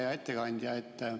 Hea ettekandja!